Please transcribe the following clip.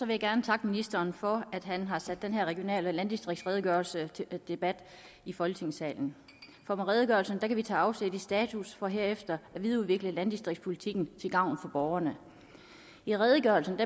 jeg gerne takke ministeren for at han har sat den her regionale landdistriktsredegørelse til debat i folketingssalen for med redegørelsen kan vi tage afsæt i status for herefter at videreudvikle landdistriktspolitikken til gavn for borgerne i redegørelsen